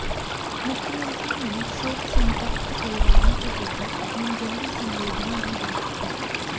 मुख्यमंत्री ने शोक संतप्त परिवारों के प्रति अपनी गहरी संवेदना भी व्यक्त की